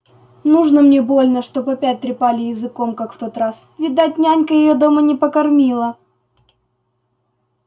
нужно мне больно чтоб опять трепали языком как в тот раз видать нянька её дома не покормила